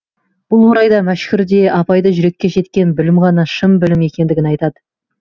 бұл орайда мәшһүр де абай да жүрекке жеткен білім ғана шын білім екендігін айтады